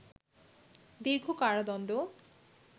দীর্ঘ কারাদণ্ড